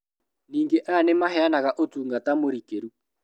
Ningĩ aya nĩmahenaga ũtungata mũrikĩru